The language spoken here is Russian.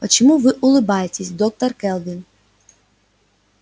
почему вы улыбаетесь доктор кэлвин